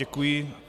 Děkuji.